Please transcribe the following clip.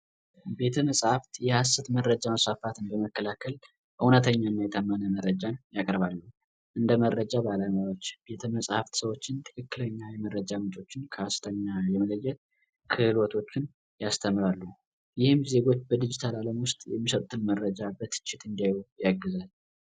ቤተመጻሕፍት ሀሰተኛ መረጃን መስፋፋትን በመከላከል እውነተኛ እና የታመነ መረጃን ያቀርባሉ። እንደ መረጃ ባለሙያዎች ፣የቤተመፅሀፍት ሰዎች ትክክለኛ የመረጃ ምንጮች ከሀሰተኛ የመለየት ክህሎቶችን ያስተምራሉ። ይህም ዜጎች በዲጅታል አለም ውስጥ የሚሰጡትን መረጃ በትችት እንዲያዩት ያግዛል።